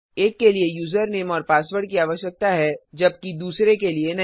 एक के लिए यूजरनेम और पासवर्ड की आवश्यकता है जबकि दूसरे के लिए नहीं